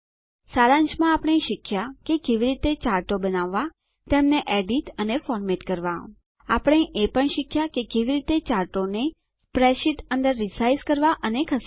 સારાંશમાં આપણે શીખ્યા કે કેવી રીતે160 ચાર્ટો બનાવવા તેમને એડીટ અથવા ફોર્મેટ કરવા આપણે એ પણ શીખ્યા કે કેવી રીતે ચાર્ટોને સ્પ્રેડશીટ અંદર રીસાઇઝ કરવા અને ખસેડવા